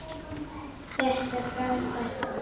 Þetta er frábært orð.